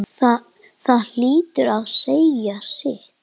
Það hlýtur að segja sitt.